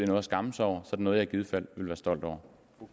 noget at skamme sig over så er det noget jeg i givet fald vil være stolt over